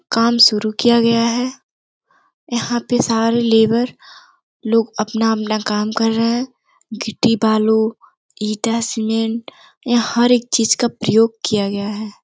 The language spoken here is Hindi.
काम शुरु किया गया है। यहाँ पे सारे लेबर लोग अपना-अपना काम कर रहे हैं। गिट्टी बालू ईटा सीमेंट यहाँ हर एक चीज का प्रयोग किया गया है।